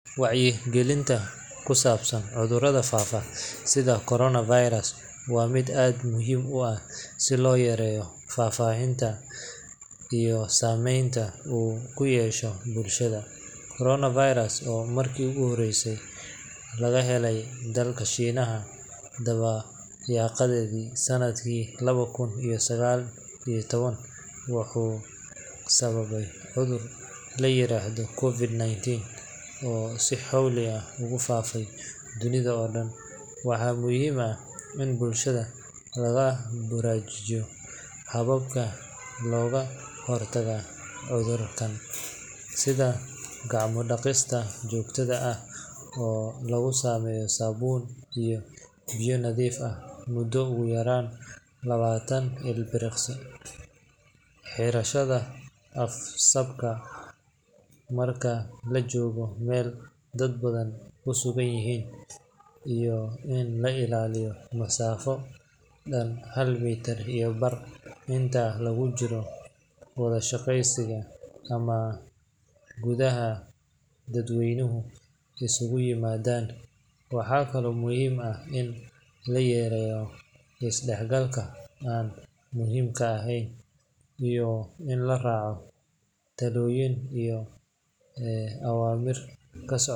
Wacyigelinta ku saabsan cudurrada faafa sida corona virus waa mid aad muhiim u ah si loo yareeyo faafitaanka iyo saameynta uu ku yeesho bulshada. Corona virus, oo markii ugu horreysay laga helay dalka Shiinaha dabayaaqadii sannadkii laba kun iyo sagaal iyo toban, wuxuu sababay cudur la yiraahdo COVID-19 oo si xawli ah ugu faafay dunida oo dhan. Waxaa muhiim ah in bulshada lagu baraarujiyo hababka looga hortago cudurkan, sida gacmo dhaqista joogtada ah oo lagu sameeyo saabuun iyo biyo nadiif ah muddo ugu yaraan labaatan ilbiriqsi, xirashada af-saabka marka la joogayo meel dad badan ku sugan yihiin, iyo in la ilaaliyo masaafo dhan hal mitir iyo bar inta lagu jiro wada sheekaysiga ama goobaha dadweynuhu isugu yimaadaan. Waxaa kale oo muhiim ah in la yareeyo is dhex galka aan muhiimka ahayn iyo in la raaco talooyinka iyo awaamiirta ka soo.